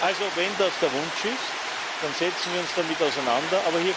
Also Wenn das der Wunsch ist, dann setzen wir uns damit auseinander.